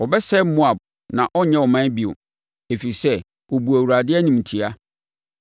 Wɔbɛsɛe Moab na ɛrenyɛ ɔman bio, ɛfiri sɛ, ɔbuu Awurade animtia.